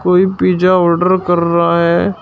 कोई pizza order कर रहा हैं।